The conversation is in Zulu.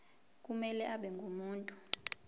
kumele abe ngumuntu